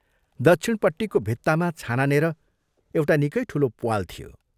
दक्षिणपट्टिको भित्तामा छानानेर एउटा निकै ठूलो प्वाल थियो।